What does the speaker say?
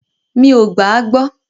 Mí o gbà à gbọ.